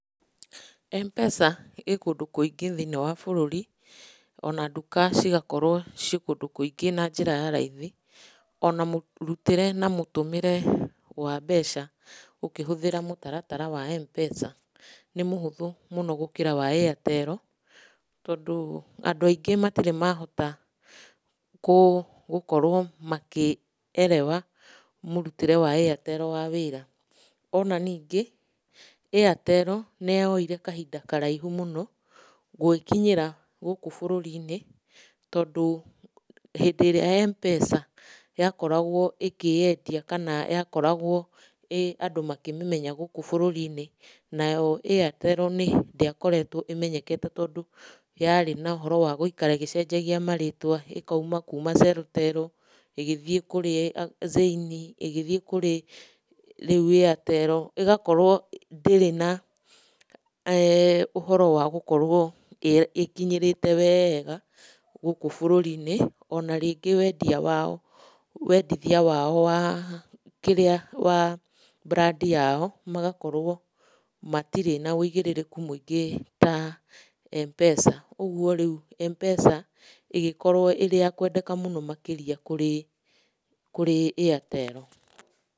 M-PESA ĩĩ kundũ kũingĩ thĩinĩ wa bũrũri, ona nduka cigakorwo ciĩ kũndũ kũingĩ na njĩra ya raithi, ona mũrutĩre na mũtũmĩre wa mbeca ũkĩhũthĩra mũtaratara wa M-PESA nĩ mũhũthũ mũno gũkĩra wa Airtel, tondũ andũ aingi matirĩ mahota gũkorwo makierewa mũrutĩre wa Airtel wa wĩra. Ona ningĩ, Airtel nĩ yoire kahinda karaihu mũno gwĩkinyĩra gũkũ bũrũri-inĩ tondũ hĩndĩ ĩrĩa M-PESA yakoragwo ĩkĩĩendia kana yakoragwo andũ makĩmĩmenya gũkũ bũrũri-inĩ, nayo Airtel ndĩakoretwo ĩmenyekete tondũ yarĩ na ũhoro wa gũikara ĩgĩcenjagia marĩtwa, ĩkauma kuma Celtel, ĩgĩthiĩ kũrĩ Zain, ĩgĩthiĩ kũrĩ rĩu Airtel, ĩgakorwo ndirĩ na eh ũhoro wa gũkorwo ĩĩkinyĩrĩte wega gũkũ bũrũri-inĩ, ona rĩngĩ wendia wao , wendithia wao wa kĩrĩa wa brand yao magakorwo matirĩ na ũigĩrĩrĩku mũingĩ ta M-PESA. Ũguo rĩu M-PESA ĩgĩkorwo ĩrĩ ya kwendeka mũno makĩria kũrĩ Airtel.